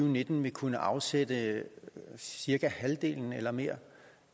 og nitten vil kunne afsætte cirka halvdelen eller mere